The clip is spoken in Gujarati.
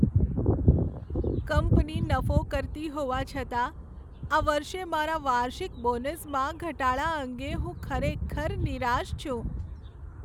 કંપની નફો કરતી હોવા છતાં, આ વર્ષે મારા વાર્ષિક બોનસમાં ઘટાડા અંગે હું ખરેખર નિરાશ છું.